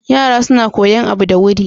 Yara suna kuyan abu da wuri.